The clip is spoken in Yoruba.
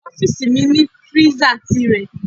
Ọ́fíìsì mi ní freezer tìrẹ.